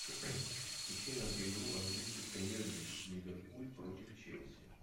ищи нам игру английской премьер лиги ливерпуль против челси